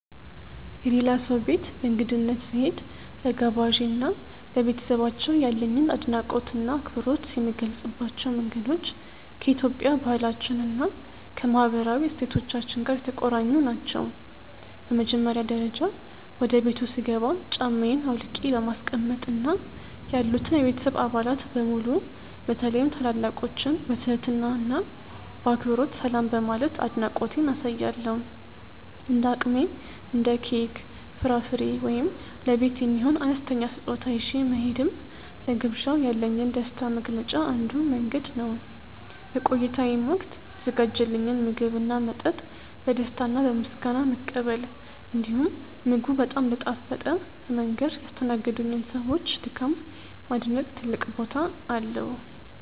የሌላ ሰው ቤት በእንግድነት ስሄድ፣ ለጋባዤ እና ለቤተሰባቸው ያለኝን አድናቆትና አክብሮት የምገልጽባቸው መንገዶች ከኢትዮጵያዊ ባህላችን እና ከማህበራዊ እሴቶቻችን ጋር የተቆራኙ ናቸው። በመጀመሪያ ደረጃ፣ ወደ ቤቱ ስገባ ጫማዬን አውልቄ በማስቀመጥ እና ያሉትን የቤተሰብ አባላት በሙሉ በተለይም ታላላቆችን በትህትና እና በአክብሮት ሰላም በማለት አድናቆቴን አሳያለሁ። እንደ አቅሜ እንደ ኬክ፣ ፍራፍሬ ወይም ለቤት የሚሆን አነስተኛ ስጦታ ይዤ መሄድም ለግብዣው ያለኝን ደስታ መግለጫ አንዱ መንገድ ነው። በቆይታዬም ወቅት የተዘጋጀልኝን ምግብና መጠጥ በደስታ እና በምስጋና መቀበል፣ እንዲሁም ምግቡ በጣም እንደጣፈጠ በመንገር ያስተናገዱኝን ሰዎች ድካም ማድነቅ ትልቅ ቦታ አለው።